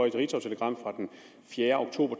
et ritzautelegram fra den fjerde oktober